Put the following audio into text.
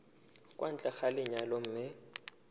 kwa ntle ga lenyalo mme